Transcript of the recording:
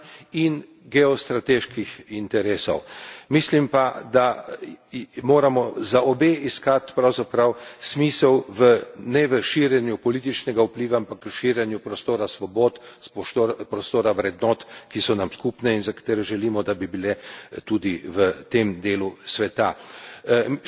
Mislim pa, da moramo za obe iskati pravzaprav smisel ne v širjenju političnega vpliva, ampak v širjenju prostora svobod, prostora vrednot, ki so nam skupne in za katere želimo, da bi bile tudi v tem delu sveta. Še vedno sem prepričan, da če bi tako pojmovali